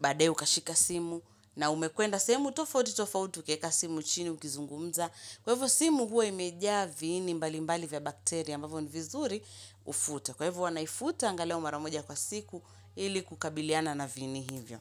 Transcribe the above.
baadae ukashika simu. Na umekwenda sehemu, tofauti tofauti ukaeka simu chini ukizungumza. Kwa evo simu huwa imejaa viini mbali mbali vya bakteria ambavo ni vizuri ufute. Kwa ivo wanaifuta angalau maramoja kwa siku ili kukabiliana na viini hivyo.